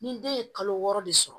Ni den ye kalo wɔɔrɔ de sɔrɔ